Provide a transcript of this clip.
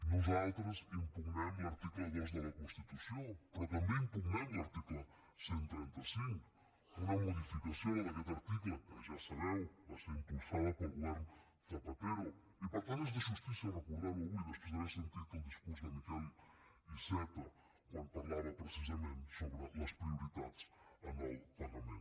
nosaltres impugnem l’article dos de la constitució però també impugnem l’article cent i trenta cinc una modificació la d’aquest article que ja ho sabeu va ser impulsada pel govern zapatero i per tant és de justícia recordar ho avui després d’haver sentit el discurs de miquel iceta quan parlava precisament sobre les prioritats en el pagament